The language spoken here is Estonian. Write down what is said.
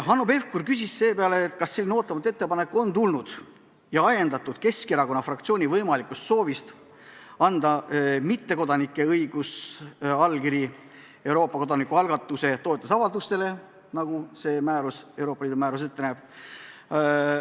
Hanno Pevkur küsis seepeale, kas selline ootamatu ettepanek on ajendatud Keskerakonna fraktsiooni võimalikust soovist anda mittekodanikele õigus anda allkiri kodanikualgatuse toetamise avaldustele, nagu see Euroopa Liidu määrus ette näeb.